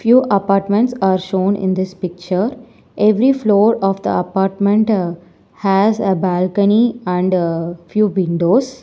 Few apartments are shown in this picture every floor of the apartment has a balcony and few windows.